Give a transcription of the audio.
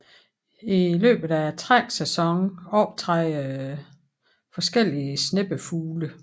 I løbet af træksæsonen optræder forskelligesneppefugle